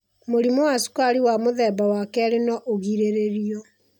Mũrimũ wa cukari wa mũthemba wa 2 no ũgirĩrĩrio.